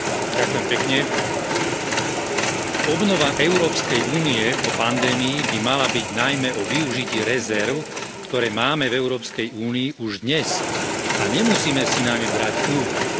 Pani predsedajúca, obnova Európskej únie po pandémii by mala byť najmä o využití rezerv, ktoré máme v Európskej únii už dnes, a nemusíme si na ne brať úver.